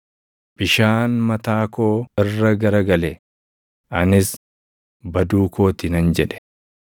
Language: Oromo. bishaan mataa koo irra gara gale; anis, “Baduu koo ti” nan jedhe.